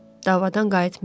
Davadadan qayıtmayıb.